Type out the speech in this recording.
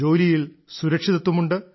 ജോലിയിൽ സുരക്ഷിതത്വമുണ്ട്